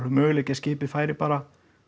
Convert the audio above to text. möguleiki að skipið færi bara